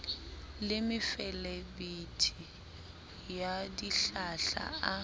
le mefelebithi ya dihlahla a